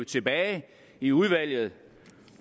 tilbage i udvalget